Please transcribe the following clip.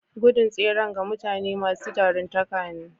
Gudun tseren ga mutane masu jaruntaka ne.